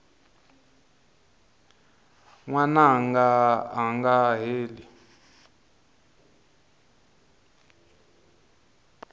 n wananga a nga heli